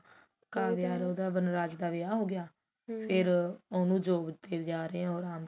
ਕਾਵਿਆ ਤੇ ਉਹਦਾ ਵਨਰਾਜ ਦਾ ਵਿਆਹ ਹੋਗਿਆ ਫ਼ੇਰ ਉਹਨੂੰ job ਉੱਤੇ ਲਿਜਾ ਰਿਹਾ ਉਹ